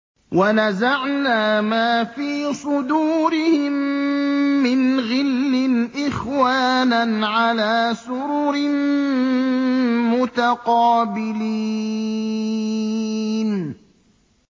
وَنَزَعْنَا مَا فِي صُدُورِهِم مِّنْ غِلٍّ إِخْوَانًا عَلَىٰ سُرُرٍ مُّتَقَابِلِينَ